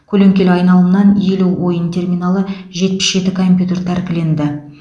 көлеңкелі айналымнан елу ойын терминалы жетпіс жеті компьютер тәркіленді